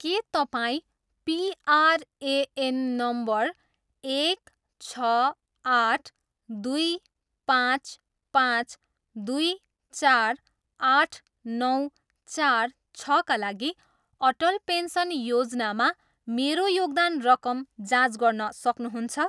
के तपाईँ PRAN number एक, छ, आठ, दुई, पाँच, पाँच, दुई, चार, आठ, नौ, चार, छका लागि अटल पेन्सन योजनामा मेरो योगदान रकम जाँच गर्न सक्नुहुन्छ?